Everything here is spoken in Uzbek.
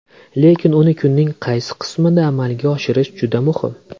Lekin uni kunning qaysi qismida amalga oshirish juda muhim.